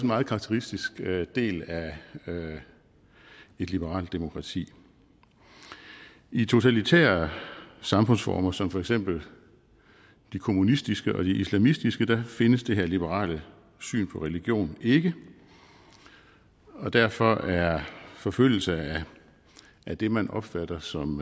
meget karakteristisk del af et liberalt demokrati i totalitære samfundsformer som for eksempel de kommunistiske og de islamistiske findes det her liberale syn på religion ikke og derfor er forfølgelse af det man opfatter som